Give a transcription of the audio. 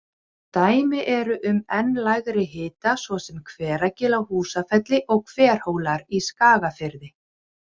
Dæmi eru um enn lægri hita svo sem Hveragil á Húsafelli og Hverhólar í Skagafirði.